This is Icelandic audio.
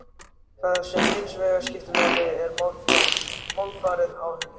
Það sem hins vegar skiptir máli er málfarið á henni.